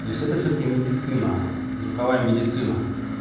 то есть это всё-таки медицина это звуковая медицина